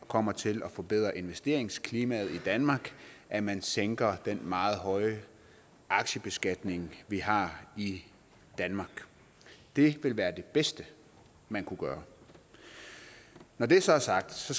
kommer til at forbedre investeringsklimaet i danmark at man sænker den meget høje aktiebeskatning vi har i danmark det ville være det bedste man kunne gøre når det så er sagt